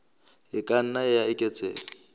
e ka nna ya eketseha